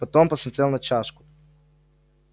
потом посмотрел на чашку